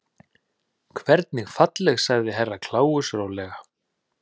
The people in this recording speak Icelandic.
Hvernig falleg sagði Herra Kláus rólega.